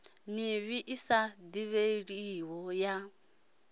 mivhi i sa divhalei ya